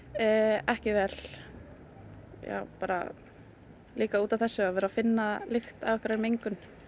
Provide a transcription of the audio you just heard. ekki vel já bara líka út af þessu að vera að finna lykt af mengun